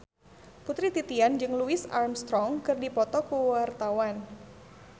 Putri Titian jeung Louis Armstrong keur dipoto ku wartawan